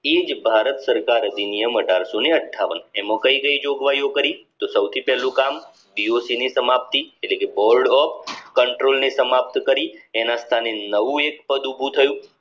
એ જ ભારત સરકાર અધિનિયમ અઢારસો ને અઠ્ઠાવન એમાં કઈ કઈ જોગવાઈઓ કરી તો સૌથી પેલું કામ boc ની સમાપ્તિ એટલે કે board of control ની સમાપ્ત કરી એના સામે નવું એક પદ ઉભું થયું